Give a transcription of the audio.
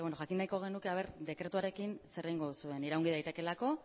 jakingo nahiko genuke ea dekretuarekin zer egingo duzuen iraungi daitekeelako